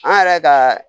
An yɛrɛ ka